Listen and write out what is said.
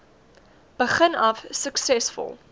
begin af suksesvol